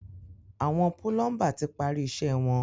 Àwọn púlọ́ḿbà ti parí iṣẹ́ wọn.